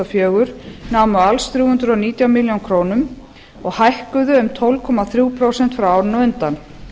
fjögur námu alls þrjú hundruð og nítján milljónum króna og hækkuðu um tólf komma þrjú prósent frá árinu á undan